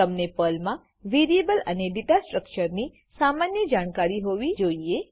તમને પર્લમાં વેરીએબલ અને ડેટા સ્ટ્રક્ચરની સામાન્ય જાણકારી હોવી જોઈએ